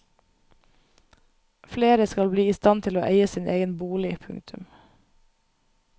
Flere skal bli i stand til å eie sin egen bolig. punktum